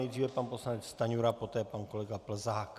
Nejdříve pan poslanec Stanjura, poté pan kolega Plzák.